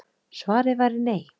Svarið væri nei